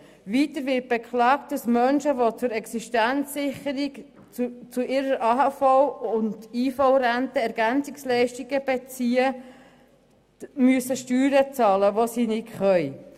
Weiter wird beklagt, dass Menschen, die zur Existenzsicherung neben ihrer AHV oder IV Ergänzungsleistungen beziehen, Steuern zahlen müssen und das nicht können.